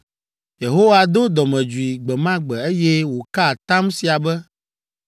Yehowa do dɔmedzoe gbe ma gbe, eye woka atam sia be,